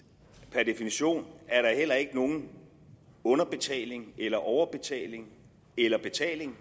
per definition er der heller ikke nogen underbetaling eller overbetaling eller betaling